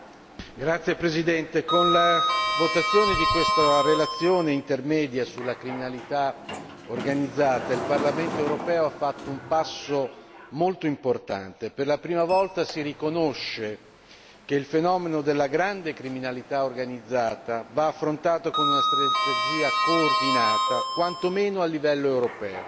Signora Presidente, onorevoli colleghi, con la votazione di questa relazione intermedia sulla criminalità organizzata, il Parlamento europeo ha fatto un passo molto importante per la prima volta, si riconosce che il fenomeno della grande criminalità organizzata va affrontato con una strategia coordinata, quanto meno a livello europeo